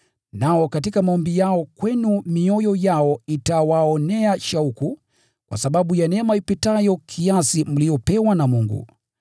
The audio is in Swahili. Nao katika maombi yao kwenu mioyo yao itawaonea shauku kwa sababu ya neema ipitayo kiasi mliyopewa na Mungu.